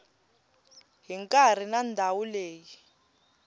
hi nkarhi na ndhawu leyi